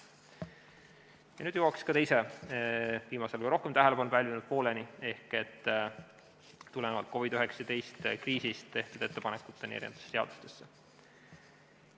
Nüüd jõuan teise, viimasel ajal rohkem tähelepanu pälvinud pooleni, ehk tulenevalt COVID-19 kriisist tehtud ettepanekuteni eri seaduste kohta.